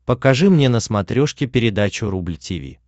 покажи мне на смотрешке передачу рубль ти ви